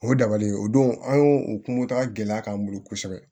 O ye dabali ye o don an y'o kungo ta gɛlɛya k'an bolo kosɛbɛ